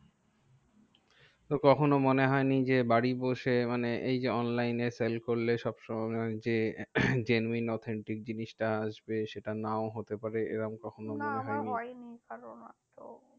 তো কখনো মনে হয় নি যে বাড়ি বসে মানে এই যে online এ sell করলে সবসময় যে genuine authentic জিনিসটা আসবে, সেটা নাও হতে পারে এরম কখনও মননে হয় নি? না আমার হয় নি কারণ